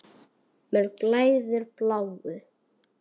Mér blæðir bláu.